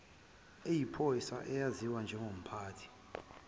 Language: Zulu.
eyiphoyisa eyaziwa njengomphathi